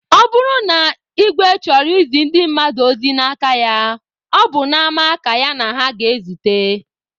Ọ bụrụ na igwe chọrọ izi ndị mmadụ ozi n'aka ya, ọ bụ n'ama ka ya na ha na-ezute.